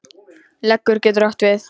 Leggur getur átt við